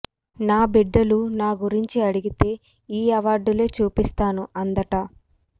నా బిడ్డలు నా గురించి అడిగితే ఈ అవార్డులే చూపిస్తాను అందట